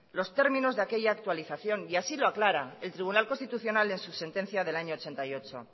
los términos de aquella actualización y así lo aclara el tribunal constitucional en su sentencia del año ochenta y ocho